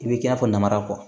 I bɛ k'i n'a fɔ namara kɔ